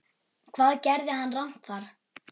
Hvað gerði hann rangt þar?